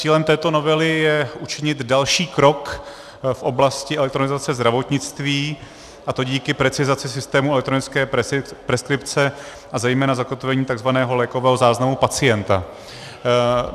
Cílem této novely je učinit další krok v oblasti elektronizace zdravotnictví, a to díky precizaci systému elektronické preskripce a zejména zakotvení tzv. lékového záznamu pacienta.